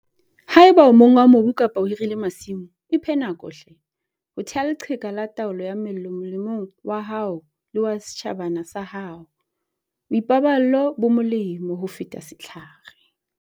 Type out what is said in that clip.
Ha eba o monga mobu kapa o hirile masimo, iphe nako hle, ho theha leqheka la taolo ya mello molemong wa hao le wa setjhabana sa hao boipaballo bo molemo ho feta setlhare.